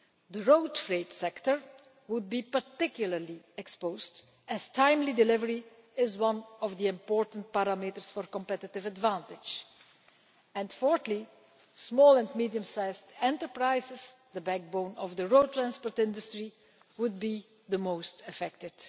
The road freight sector would be particularly exposed, as prompt delivery is one of the important parameters for competitive advantage, and small and medium sized enterprises, the backbone of the road transport industry, would be the most affected.